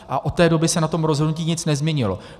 A od té doby se na tom rozhodnutí nic nezměnilo.